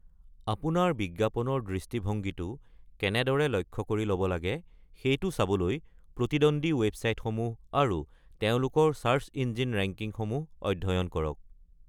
আপোনাৰ বিজ্ঞাপনৰ দৃষ্টিভংগীটো কেনেদৰে লক্ষ্য কৰি ল'ব লাগে সেইটো চাবলৈ প্ৰতিদ্বন্দ্বী ৱেবছাইটসমূহ আৰু তেওঁলোকৰ চাৰ্চ ইঞ্জিন ৰেংকিং সমূহ অধ্যয়ন কৰক।